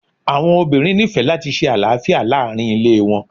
Awọn obinrin nifẹ lati ṣe alafia laarin ile wọn